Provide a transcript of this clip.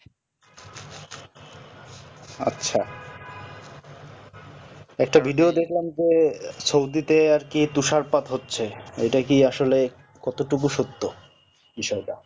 আচ্ছা একটা video দেখলাম যে সৌদি তে আরকি তুষারপাত হচ্ছে এটা কি আসলে কত টুকু সত্য তুষারপাত